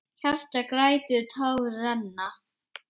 Hjartað grætur, tár renna.